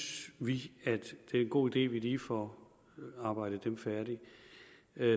vi at det er en god idé at vi lige får arbejdet dem færdig